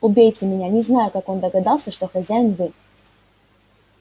убейте меня не знаю как он догадался что хозяин вы